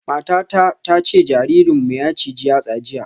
Matata ta ce jaririnmu ya ciji yatsa jiya